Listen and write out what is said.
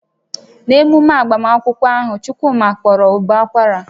N'ememe agbamakwụkwọ ahụ, Chukwuma kpọrọ ụbọ akwara